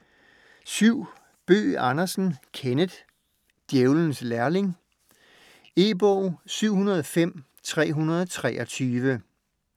Bøgh Andersen, Kenneth: Djævelens lærling E-bog 705323